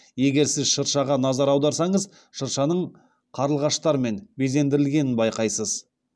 егер сіз шыршаға назар аударсаңыз шыршаның қарлығаштармен безендірілгенін байқайсыз